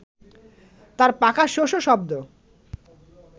তার পাখার শোঁ-শোঁ শব্দ